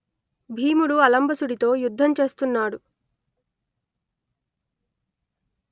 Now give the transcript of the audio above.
భీముడు అలంబసుడితో యుద్ధం చేస్తున్నాడు